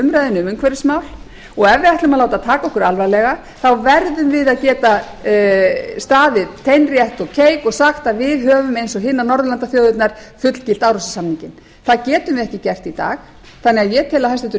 umræðunni kom umhverfismál og ef við ætlum að láta taka okkur alvarlega verðum við að geta staðið teinrétt og keik og sagt að við höfum eins og hinar norðurlandaþjóðirnar fullgilt árósasamninginn það getum við ekki gert í dag þannig að ég tel að hæstvirtur